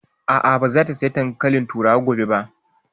A'a, ba za ta saya dankalin turawa gobe ba